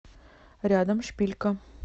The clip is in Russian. рядом шпилька